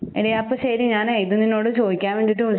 ഇനിയപ്പ ശരി ഞാനേ ഇതുനിന്നോട് ചോദിക്കാൻ വേണ്ടീട്ട് വിളി